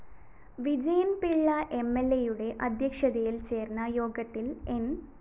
വിജയന്‍പിള്ള എംഎല്‍എയുടെ അദ്ധ്യക്ഷതയില്‍ ചേര്‍ന്ന യോഗത്തില്‍ ന്‌